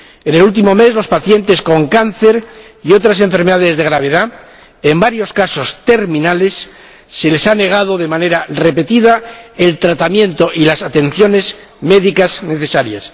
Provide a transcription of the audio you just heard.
En el último mes, a los pacientes con cáncer y otras enfermedades de gravedad —en varios casos terminales— se les ha negado de manera repetida el tratamiento y las atenciones médicas necesarias.